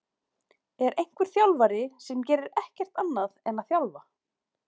Er einhver þjálfari sem gerir ekkert annað en að þjálfa?